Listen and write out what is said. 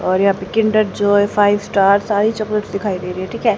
और यहां पे किंडर जॉय फाइव स्टार सारी चॉकलेट दिखाई दे रही है ठीक है।